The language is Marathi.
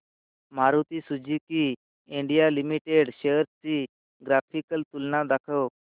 Maruti Suzuki India limited shares ची ग्राफिकल तुलना दाखव